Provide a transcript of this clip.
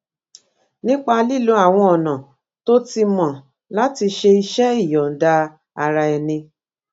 nípa lílo àwọn ọnà tó ti mọ láti ṣe iṣé ìyòǹda ara ẹni